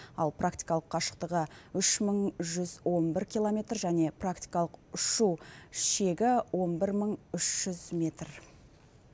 ал практикалық қашықтығы үш мың жүз он бір километр және практикалық ұшу шегі он бір мың үш жүз метр